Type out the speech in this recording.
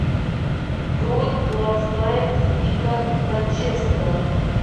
бронь глазная клиника бранчевского